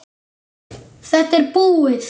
Þetta er búið.